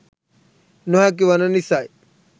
නොහැකි වන නිසයි.